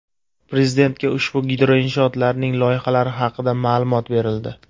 Prezidentga ushbu gidroinshootlarning loyihalari haqida ma’lumot berildi.